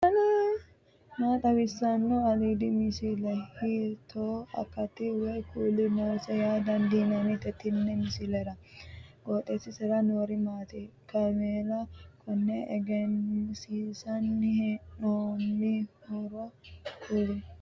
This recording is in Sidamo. maa xawissanno aliidi misile ? hiitto akati woy kuuli noose yaa dandiinanni tenne misilera? qooxeessisera noori maati ? kaamela konne egensiinsanni heee'noonnihoro kulie